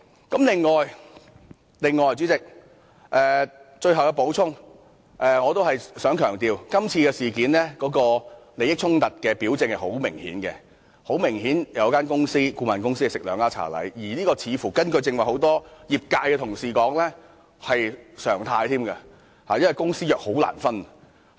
此外，主席，最後要補充一點，我想強調在今次事件中，利益衝突的表徵甚為明顯，有一間顧問公司"吃兩家茶禮"，而根據很多屬該業界的同事剛才所說，這更是常態，因為公私營機構的合約難以分開處理。